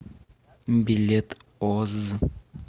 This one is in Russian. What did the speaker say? билет озз